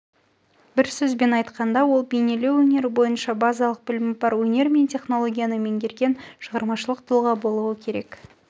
бір сөзбен айтқанда ол бейнелеу өнері бойынша базалық білімі бар өнер мен технологияны меңгерген шығармашылық тұлға болуы керек